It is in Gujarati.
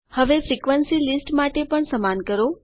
હવે ફ્રિક્વન્સી લીસ્ટ માટે પણ સમાન કરો